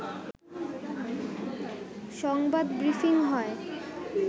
সংবাদ ব্রিফিং হয়